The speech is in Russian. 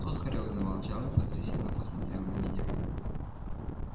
тут хорёк замолчал и потрясённо посмотрел на меня